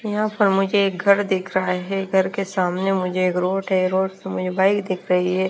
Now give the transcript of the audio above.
यहाँ पर मुझे एक घर दिख रहा है घर के सामने मुझे एक रोड है रोड मुझे बाइक दिख रही है।